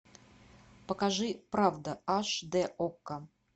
покажи правда аш д окко